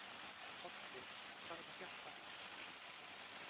Olli, hvað er að frétta?